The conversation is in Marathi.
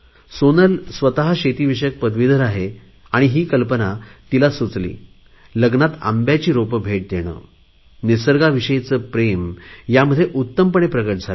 सोनल स्वत शेतीविषयक पदवीधर आहे ही कल्पना तिला सुचली आणि लग्नात आंब्यांची रोपं भेट देणे निसर्गा विषयीचे प्रेम यामध्ये उत्तमपणे प्रकट झाले आहे